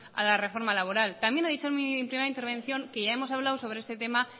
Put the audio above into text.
a la reforma laboral también he dicho en mi primera intervención que ya hemos hablado sobre este tema